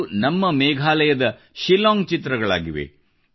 ಇವು ನಮ್ಮ ಮೇಘಾಲಯದ ಶಿಲ್ಲಾಂಗ್ ಚಿತ್ರಗಳಾಗಿವೆ